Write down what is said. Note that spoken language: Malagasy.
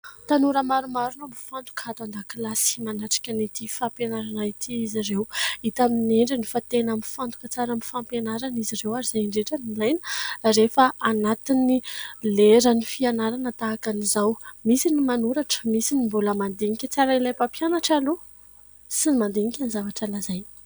Tanora maromaro no mifantoka ato an-dakilasy manatritra ity fampianarana ity izy ireo, hita amin'ny endriny fa tena mifantoka tsara amin'ny fampianarana izy ireo ary izay indrindra no ilaina rehefa anaty lera ny fianarana tahaka an'izao. Misy ny manoratra Ary misy ny mandinika tsara Ilay mpampianatra aloha sy mandinika tsara izay izay lazaina aloha.